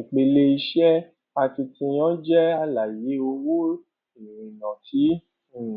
ìpele iṣẹ akitiyan jẹ àlàyé owó ìrìnà tí um